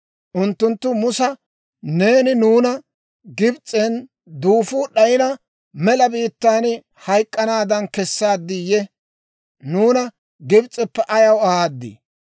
Unttunttu Musa, «Neeni nuuna Gibs'en duufuu d'ayina mela biittaan hayk'k'anaadan kessaadiiyye? Nuuna Gibs'eppe ayaw ahaad?